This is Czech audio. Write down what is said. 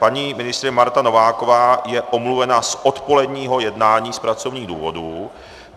Paní ministryně Marta Nováková je omluvena z odpoledního jednání z pracovních důvodů.